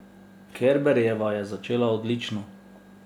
Kerberjeva je začela odlično.